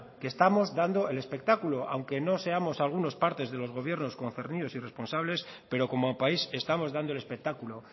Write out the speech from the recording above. que estamos dando el espectáculo aunque no seamos algunos parte de los gobiernos concernidos y responsables pero como país estamos dando el espectáculo